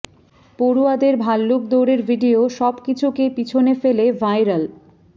পড়ুয়াদের ভাল্লুক দৌড়ের ভিডিও সব কিছুকে পিছনে ফেলে ভাইরাল